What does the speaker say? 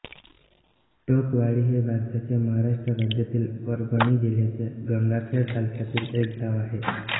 टोकवाडी हे भारताच्या महाराष्ट्र राज्यातील परभणी जिल्ह्यातील गंगाखेड तालुक्यातील एक गाव आहे